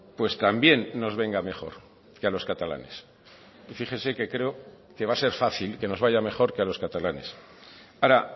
pues también nos venga mejor que a los catalanes fíjese que creo que va a ser fácil que nos vaya mejor que a los catalanes ahora